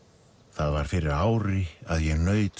það var fyrir ári að ég naut